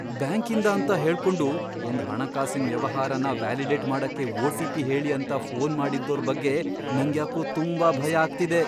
ಬ್ಯಾಂಕಿಂದ ಅಂತ ಹೇಳ್ಕೊಂಡು ಒಂದ್ ಹಣಕಾಸಿನ್ ವ್ಯವಹಾರನ ವ್ಯಾಲಿಡೇಟ್ ಮಾಡಕ್ಕೆ ಒ.ಟಿ.ಪಿ. ಹೇಳಿ ಅಂತ ಫೋನ್ ಮಾಡಿದ್ದೋರ್ ಬಗ್ಗೆ ನಂಗ್ಯಾಕೋ ತುಂಬಾ ಭಯ ಆಗ್ತಿದೆ.